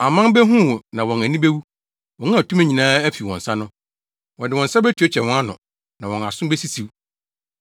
Aman behu wo na wɔn ani bewu, wɔn a tumi nyinaa afi wɔn nsa no. Wɔde wɔn nsa betuatua wɔn ano na wɔn aso besisiw.